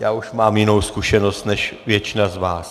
Já už mám jinou zkušenost než většina z vás.